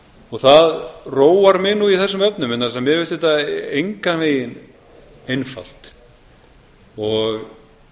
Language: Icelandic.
og það róar mig nú í þessum efnum vegna þess að mér finnst þetta engan veginn einfalt ég